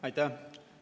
Aitäh!